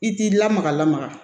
I t'i lamaga lamaga